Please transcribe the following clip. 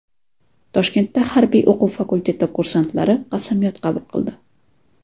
Toshkentda harbiy o‘quv fakulteti kursantlari qasamyod qabul qildi .